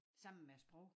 Sammen med æ sprog